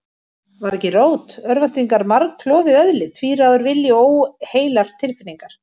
Var ekki rót örvæntingarinnar margklofið eðli, tvíráður vilji og óheilar tilfinningar?